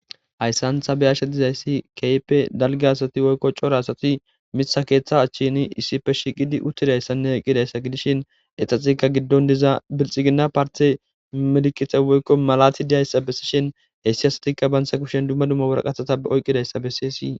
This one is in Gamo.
hayssantha beyashshe dizayssi keype dalgi asati woykko cora asati mitha keeththa achchini isippe shiqidi uttidayssanne oqqidayssa gidishin exaxika giddon diza bilxigina parte medikite woykko malati diayssa bessi shin hessi asatikka bansa kushen dumma dumma wuraqatata be oyqqidayssa bessi isii